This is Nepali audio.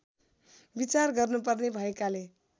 विचार गर्नुपर्ने भएकाले